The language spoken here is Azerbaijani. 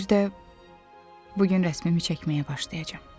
Bir də bu gün rəsmimi çəkməyə başlayacam.